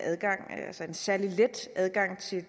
særlig let adgang